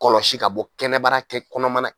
Kɔlɔsi ka bɔ kɛnɛbara kɛ kɔnɔmana